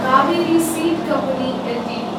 Kaveri seed company Ltd